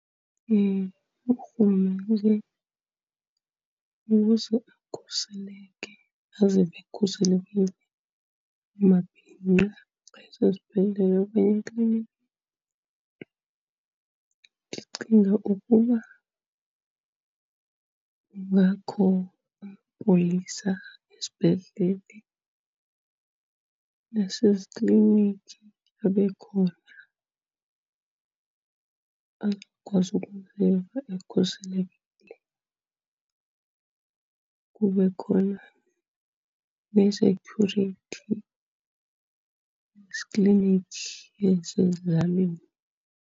Urhulumente, ukuze akhuseleke, azive ekhuselekile amabhinqa kweso sibhedlele okanye ekliniki ndicinga ukuba kungakho amapolisa esibhedlele, nasezikliniki abe khona azokwazi ukuziva ekhuselekile. Kube khona nee-security ezikliniki ezisezilalini.